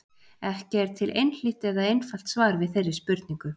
Ekki er til einhlítt eða einfalt svar við þeirri spurningu.